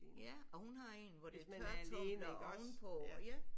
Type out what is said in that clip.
Ja og hun har en hvor det er tørretumbler ovenpå ja